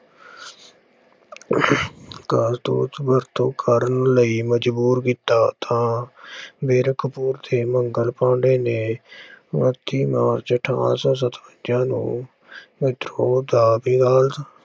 ਕਾਰਤੂਸ ਵਰਤੋਂ ਕਰਨ ਲਈ ਮਜ਼ਬੂਰ ਕੀਤਾ ਤਾਂ ਕਪੂਰ ਤੇ ਮੰਗਲ ਪਾਂਡੇ ਨੇ ਬੱਤੀ ਮਾਰਚ ਅਠਾਰਾਂ ਸੌ ਸਤਵੰਜਾ ਨੂੰ ਵਿਦਰੋਹ ਦਾ